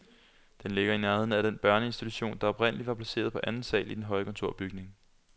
Den ligger i nærheden af den børneinstitution, der oprindelig var placeret på anden sal i den høje kontorbygning.